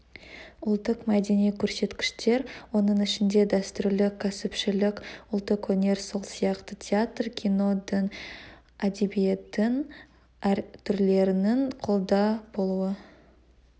ұлттық-мәдени көрсеткіштер оның ішінде дәстүрлі кәсіпшілік ұлттық өнер сол сияқты театр кино дін әдебиеттің әр түрлерінің қолда болуы